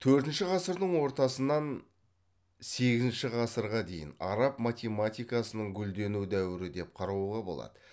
төртінші ғасырдың ортасынан сегізінші ғасырға дейін араб математикасының гүлдену дәуірі деп қарауға болады